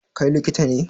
Kai likita ne?